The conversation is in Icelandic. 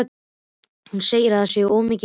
Hún segir að það sé svo mikil fýla af því.